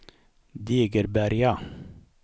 Degeberga